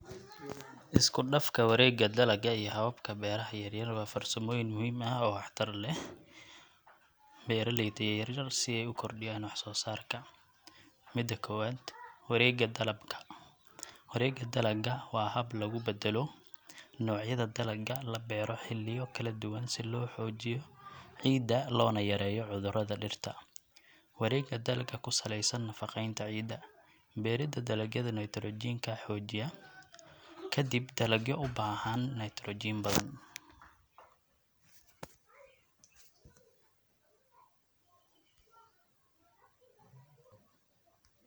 Iskudhafka warega dalaga iyo hababka beraha yaryar wa farsamoyin muhim ah oo wax tar leh. Beraleyda yaryar si ay u kordhiyan wax soo sarka. Mida kowad; wareegga dalaga, wareegga dalaga wa hab lugu badelo nocyada dalaga labeero xiliya kala duban si loo xoojiyo ciida lona yareeyo cudurada dhirta, wareegga dalaga kusaleysan nafaqeyta ciida, berida dalaga naitrojinka xojiya kadib dalagyo ubaahan nitrojin badan